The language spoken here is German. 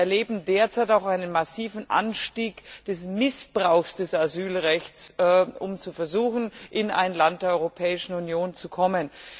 Wir erleben derzeit auch einen massiven Anstieg des Missbrauchs des Asylrechts, bei den Versuchen, in ein Land der Europäischen Union zu kommen.